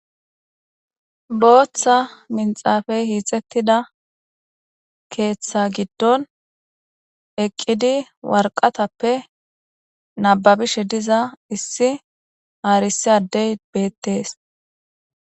booththa minxaafey hiixettida keeththa giddon eqqidi warqatappe nababishe diza issi haarisi addey beettees